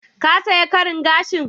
Ka saya karin gashin?